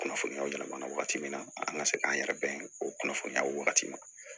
Kunnafoniyaw yɛlɛma na wagati min na an ka se k'an yɛrɛ dɛmɛ o kunnafoniyaw wagati ma